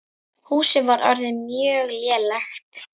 Húsið var orðið mjög lélegt.